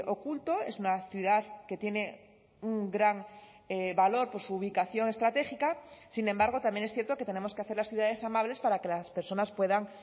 oculto es una ciudad que tiene gran valor por su ubicación estratégica sin embargo también es cierto que tenemos que hacer las ciudades amables para que las personas puedan